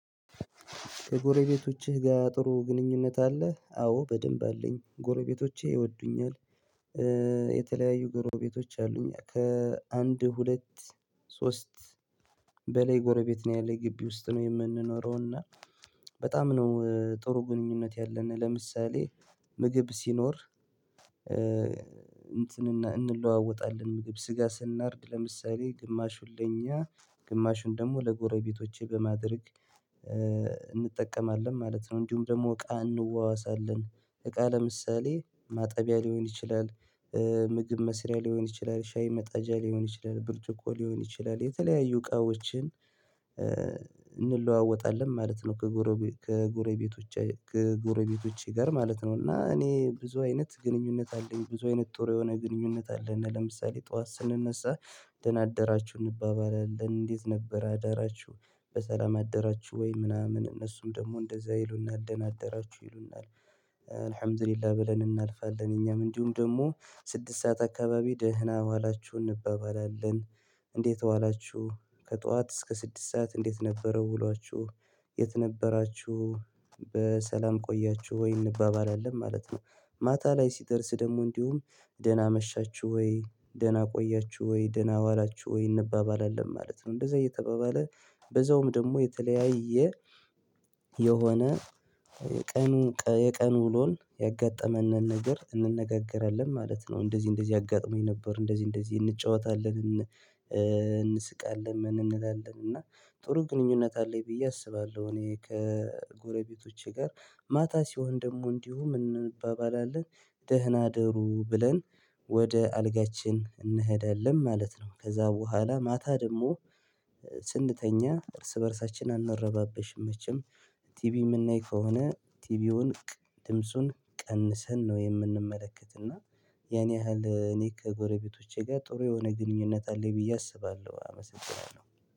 ከጎረቤቶችህ ጋር ጥሩ ግንኙነት አለ? አዎ በደንብ አለኝ ጎረቤቶቼ ይወዱኛል። የተለያዩ ጎረቤቶች አሉኝ ከ አንድ ሁለት ሶስት በላይ ጎረቤት ነው ያለኝ ግቢ ውስጥ ነው የምንኖረው። እና በጣም ነው ጥሩ ግንኙነት ያለነ። ለምሳሌ ምግብ ሲኖር እንትንና እንለዋወጣለን ምግብ ስጋ ስናርድ ለምሳሌ ግማሹን ለኛ ግማሹን ደሞ ለጎረቤቶቼ በማድረግ እንጠቀማለን ማለት ነው። እንዲሁም ደግሞ እቃ እንዋዋሳለን እቃ ለምሳሌ ማጠቢያ ሊሆን ይችላል። ምግብ መስሪያ ሊሆን ይችላል ሻይ መጣጃ ሊሆን ይችላል ብርጭቆ ሊሆን ይችላል የተለያዩ እቃዎችን እንለዋወጣለን ማለት ነው። ከጎረቤት ከጎረቤቶች ከጎረቤቶች ጋር ማለት ነው እና እኔ ብዙ አይነት ግንኙነት አለኝ ብዙ አይነት ጥሩ የሆነ ግንኙነት አለን። ለምሳሌ ጠዋት ስንነሳ ደና አደራችሁ እንባባላለን እንዴት ነበር አዳራችሁ በሰላም አደራችሁ ወይ ምናምን እነሱም ደግሞ እንደዛ ይሉናል ደና አደራችሁ ይሉናል። አሀምዲላ ብለን እናልፋለን እኛም እንዲሁም ደሞ ስድስት ሰዓት አካባቢ ደህና ዋላችሁ እንባባላለን። እንዴት ዋላችሁ? ከጧት እስከ ስድስት ሰዓት እንዴት ነበረው ውሏችሁ? የት ነበራችሁ? በሰላም ቆያችሁ ወይ እንባባላለን ማለት ነው። ማታ ላይ ሲደርስ ደሞ እንዲሁም ደህና አመሻችሁ ወይ ደህና ቆያችሁ ወይ ደህና ዋላችሁ ወይ እንባባላለን ማለት ነው። እንደዛ እየተባባለ በዛውም ደግሞ የተለያየ የሆነ የቀኑ የቀኑ ውሎን ያጋጠመነን ነገር እንነጋገራለን ማለት ነው። እንደዚህ እንደዚህ አጋጥሞኝ ነበር እንደዚህ እንደዚህ እንጫወታለን እንስቃለን እንላለን እና ጥሩ ግንኙነት አለኝ ብዬ አስባለሁ። እኔ ከጎረቤቶቼ ጋር ማታ ሲሆን ደግሞ እንዲሁ እንባባላለን ደህና እደሩ ብለን ወደ አልጋችን እንሄዳለን ማለት ነው። ከዛ በኋላ ማታ ደግሞ ስንተኛ እርስ በእርሳችን አንረባበሽም መቼም። ቲቪ የምናይ ከሆነ ቲቪውን ድምጹን ቀንሰን ነው የምንመለከትና ያን ያህል እኔ ከጎረቤቶቼ ጋር ጥሩ የሆነ ግንኙነት አለኝ ብዬ አስባለሁ። አመሰግናለሁ።